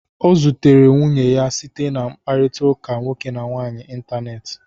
O zutere nwunye ya site na mkpakọrịta nwoke na nwaanyị n'ịntanetị.